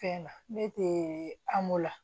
Fɛn na ne te amu la